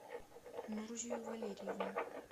нурзию валерьевну